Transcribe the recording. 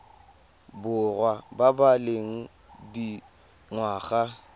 borwa ba ba leng dingwaga